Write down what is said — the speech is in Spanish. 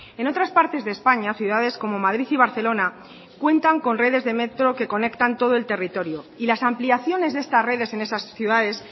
en otras partes de españa ciudades como madrid y barcelona cuentan con redes de metro que conectan todo el territorio y las ampliaciones de esta redes en esas ciudades